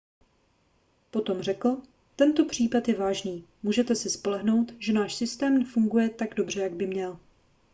potom řekl tento případ je vážný můžete se spolehnout že náš systém funguje tak dobře jak by měl